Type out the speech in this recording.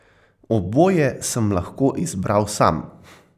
Oboje sem lahko izbral sam.